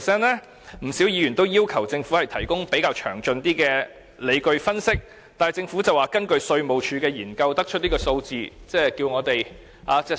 因此，不少議員要求政府提供較詳盡的理據分析，但政府指這是根據稅務局的研究所得的數字，並要求我們相信。